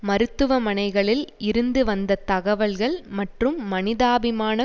மருத்துவமனைகளில் இருந்து வந்த தகவல்கள் மற்றும் மனிதாபிமான